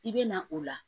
I bɛ na o la